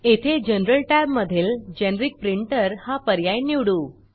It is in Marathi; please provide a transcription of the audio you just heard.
येथे जनरल Tab मधीलGeneric प्रिंटर हा पर्याय निवडू